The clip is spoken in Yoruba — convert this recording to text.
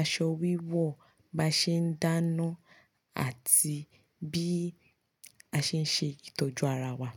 aṣọ wíwọ̀, bí a ṣe ń dáná àti bí a ṣe ń ṣe ìtọ́jú ara wa.